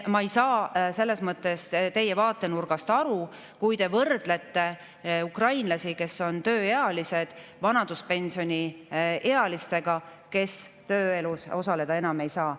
Ma ei saa selles mõttes teie vaatenurgast aru, kui te võrdlete ukrainlasi, kes on tööealised, vanaduspensioniealistega, kes enam tööelus osaleda ei saa.